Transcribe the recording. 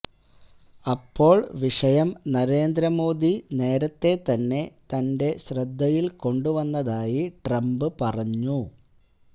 അപ്പോള് വിഷയം നരേന്ദ്ര മോദി നേരത്തെ തന്നെ തന്റെ ശ്രദ്ധയില് കൊണ്ടുവന്നതായി ട്രംപ് പറഞ്ഞു